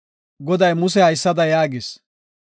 Goday Muse haysada yaagis;